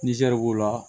Nizɛri b'o la